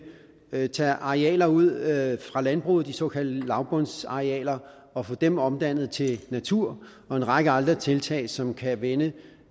tage tage arealer ud af landbruget de såkaldte lavbundsarealer og få dem omdannet til natur og en række andre tiltag som kan vende